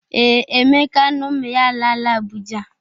Ee, Emeka na ụmụ ya alaala Abụja.